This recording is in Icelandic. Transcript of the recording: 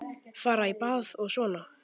Fara í bað og svona.